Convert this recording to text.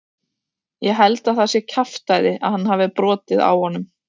Ég held að það sé kjaftæði að hann hafi brotið á honum.